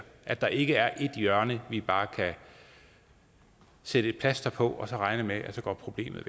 at der ikke er et hjørne vi bare kan sætte et plaster på og så regne med at problemet